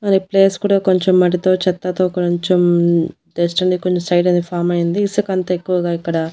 మరి ఈ ప్లేస్ కూడా కొంచెం మట్టితో చెత్తతో కొంచెమ్ డస్ట్ అనేది కొంచెం సైడ్ అది ఫామ్ అయింది ఇసక అంతా ఎక్కువగా ఇక్కడ.